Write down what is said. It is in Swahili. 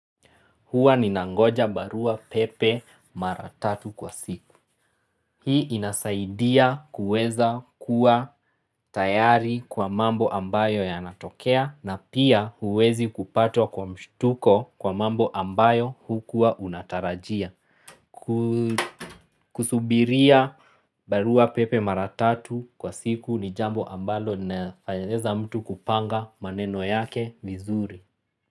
Huwa ninangoja barua pepe mara tatu kwa siku. Hii inasaidia kuweza kuwa tayari kwa mambo ambayo yanatokea na pia huwezi kupatwa kwa mshtuko kwa mambo ambayo hukua unatarajia. Kusubiria barua pepe mara tatu kwa siku ni jambo ambalo nafaeleza mtu kupanga maneno yake vizuri.